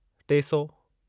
टे सौ